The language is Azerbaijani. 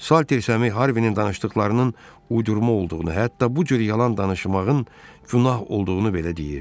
Salter Sami Harvinin danışdıqlarının uydurma olduğunu, hətta bu cür yalan danışmağın günah olduğunu belə deyirdi.